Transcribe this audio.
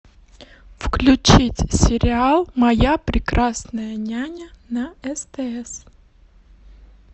включить сериал моя прекрасная няня на стс